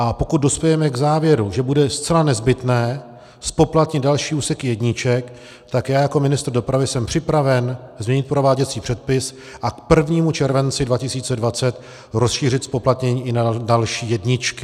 A pokud dospějeme k závěru, že bude zcela nezbytné zpoplatnit další úseky jedniček, tak já jako ministr dopravy jsem připraven změnit prováděcí předpis a k 1. červenci 2020 rozšířit zpoplatnění i na další jedničky.